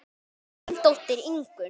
Þín dóttir Ingunn.